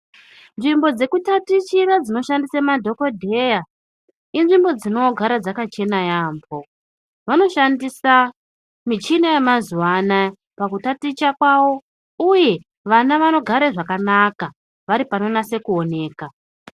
Nzvimbo dzekutatichira ndinoshandise ngemadhokodheya inzvimbo dzinogara dzakachena yaamho, vanoshandisa michini yamazuwa ano aya pakutaticha kwawo ,uye vana vanogare zvakanaka vari panonase kuoneka.